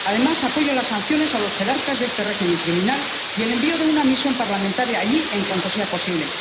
Además, apoyo las sanciones a los jerarcas de este régimen criminal y el envío de una misión parlamentaria allí en cuanto sea posible.